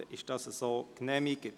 Dann ist dies so genehmigt.